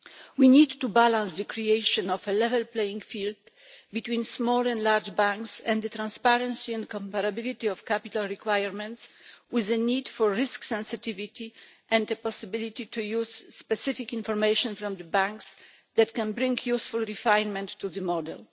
We need to balance the creation of a level playing field between small and large banks and the transparency and comparability of capital requirements, with the need for risk sensitivity and the possibility to use specific information from banks that can bring useful refinement to the model.